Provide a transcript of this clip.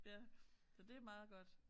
Ja så det meget godt